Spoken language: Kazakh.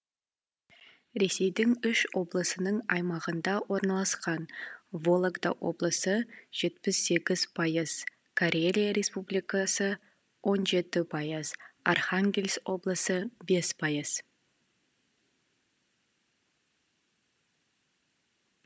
ресейдің үш облысының аймағында орналасқан вологда облысы жетпіс сегіз пайыз карелия республикасы он жеті пайыз архангельск облысы бес пайыз